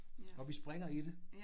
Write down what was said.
Og vi springer i det